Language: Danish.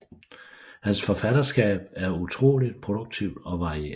Hans forfatterskab er utroligt produktivt og varieret